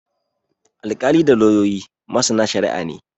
Alkalai da lauyoyi masana shari'a ne.